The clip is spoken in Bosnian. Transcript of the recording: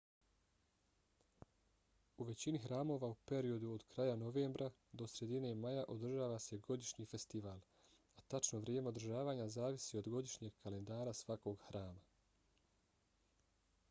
u većini hramova u periodu od kraja novembra do sredine maja održava se godišnji festival a tačno vrijeme održavanja zavisi od godišnjeg kalendara svakog hrama